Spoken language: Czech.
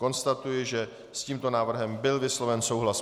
Konstatuji, že s tímto návrhem byl vysloven souhlas.